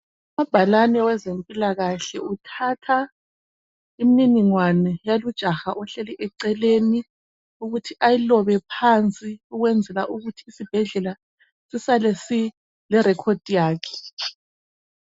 Umabhalane wezempilakahle uthatha imniningwane yalo ujaha ohleli eceleni ukuthi ayilobe phansi ukwenzela ukuthi isibhedlela sisale sile record yakhe.